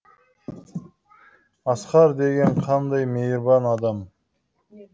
асқар деген қандай мейірбан адам